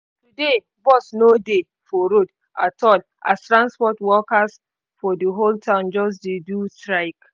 today bus no dey for road at all as transport workers for the whole town just dey do strike